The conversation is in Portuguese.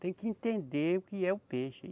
Tem que entender o que é o peixe.